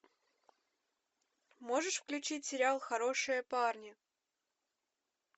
можешь включить сериал хорошие парни